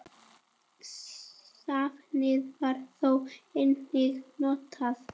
Safnið var þó einnig notað.